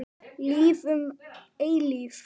Líf um eilífð.